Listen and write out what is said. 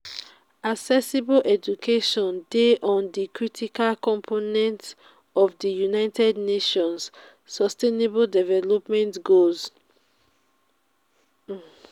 accessible education dey on di critical component of di 'united nations' sustainable development goals (unsdg)'.